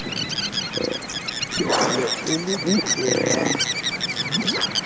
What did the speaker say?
ne e le bitleng la